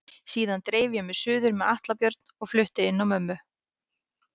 Síðan dreif ég mig suður með Atla Björn og flutti inn á mömmu.